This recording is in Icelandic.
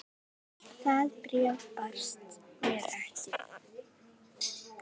Það bréf barst mér ekki!